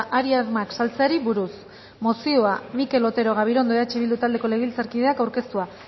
hari armak saltzeari buruz mozioa mikel otero gabirondo eh bildu taldeko legebiltzarkideak aurkeztua